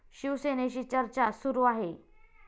शिवसेनेशी चर्चा सुरु आहे.